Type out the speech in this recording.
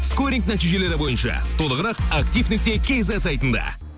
скоринг нәтижелері бойынша толғырық актив нүкте кизет сайтында